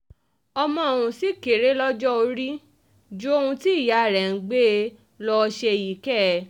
um ọmọ ọ̀hún ṣì kéré lọ́jọ́ orí um ju ohun tí ìyá rẹ̀ ń gbé e lọ́ọ́ ṣe yìí kẹ̀